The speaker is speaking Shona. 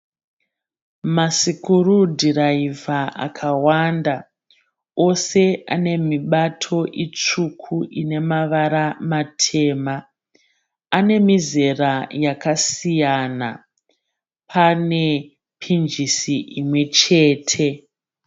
Masukurudhiraivha akawanda. Ose ane mibato mitsvuku ine mavara matema. Ane mizera yakasiyana. Pane pinjisi imwe chete.